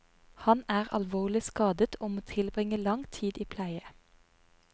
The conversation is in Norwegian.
Han er alvorlig skadet, og må tilbringe lang tid i pleie.